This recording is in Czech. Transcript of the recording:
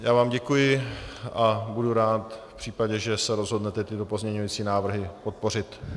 Já vám děkuji a budu rád v případě, že se rozhodnete tyto pozměňující návrhy podpořit.